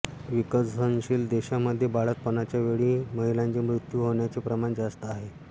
विकसनशील देशांमध्ये बाळंतपणाच्या वेळी महिलांचे मृत्यू होण्याचे प्रमाण जास्त आहे